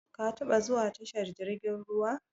Ka taba zuwa tashar jirgin ruwa?